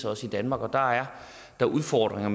også i danmark og der er der udfordringer